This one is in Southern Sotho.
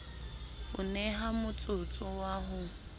o neha motsotso wa ho